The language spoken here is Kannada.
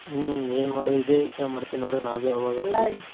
ಹ್ಮ್ ಏನ್ ಮಾಡುದ್ ಇದೇ ಯೋಚನೆ ಮಾಡ್ತೀನ್ರೀ ನಾವ್ .